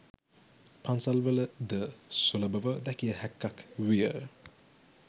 පන්සල්වල ද සුලබව දැකිය හැක්කක් විය